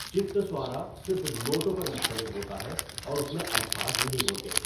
چِتّسوارا صرف نوٹوں پر مشتمل ہوتا ہے اور اس میں الفاظ نہیں ہوتے۔